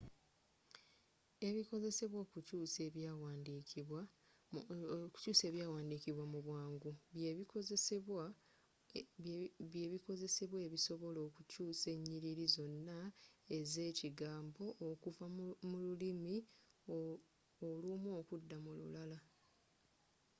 ebikozesebwa okukyuusa ebyawandiikibwa mubwangu – by’ebikozesebwa ebisobola okukyuusa enyiriri zonna ezekigambo okuva mululimi olumu okudda mululala